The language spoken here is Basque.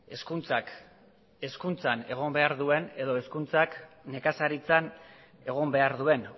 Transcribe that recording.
hezkuntzak hezkuntzan egon behar duen edo hezkuntzak nekazaritzan egon behar duen